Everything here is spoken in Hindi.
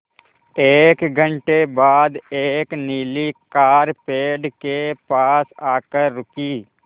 एक घण्टे बाद एक नीली कार पेड़ के पास आकर रुकी